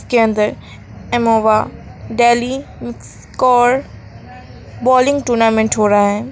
के अंदर एमोवा डेली स्कोर बोलिंग टूर्नामेंट हो रहा है।